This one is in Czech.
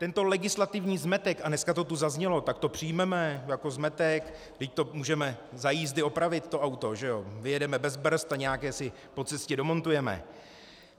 Tento legislativní zmetek - a dneska to tu zaznělo: tak to přijmeme jako zmetek, vždyť to můžeme za jízdy opravit, to auto, že jo, vyjedeme bez brzd a nějaké si po cestě domontujeme...